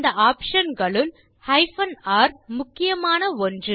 அந்த ஆப்ஷன் களுள் R முக்கியமான ஒன்று